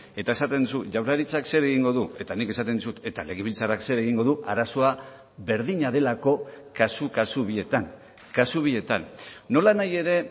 eta esaten duzu jaurlaritzak zer egingo du eta nik esaten dizut eta legebiltzarrak zer egingo du arazoa berdina delako kasu kasu bietan kasu bietan nolanahi ere